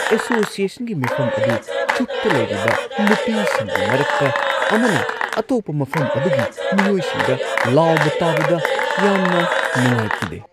ꯑꯦꯁꯣꯁꯤꯑꯦꯁꯟꯒꯤ ꯃꯤꯐꯝ ꯑꯗꯨ ꯆꯨꯞꯇ ꯂꯩꯔꯤꯕ ꯅꯨꯄꯤꯁꯤꯡꯒꯤ ꯃꯔꯛꯇ ꯑꯃꯅ ꯑꯇꯣꯞꯄ ꯃꯐꯝ ꯑꯗꯨꯒꯤ ꯃꯤꯑꯣꯏꯁꯤꯡꯗ ꯂꯥꯎꯕ ꯇꯥꯕꯗ ꯌꯥꯝꯅ ꯅꯨꯡꯉꯥꯏꯈꯤꯗꯦ꯫